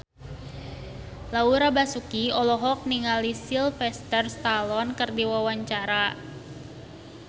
Laura Basuki olohok ningali Sylvester Stallone keur diwawancara